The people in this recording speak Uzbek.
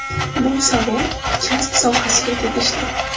Bu savol kasb sohasiga tegishli.